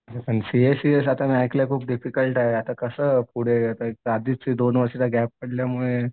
CA CS ऐकलंय खूप difficult आहे आता कसं पुढे आधीच ते दोन वर्षाचा गॅप पडल्यामुळे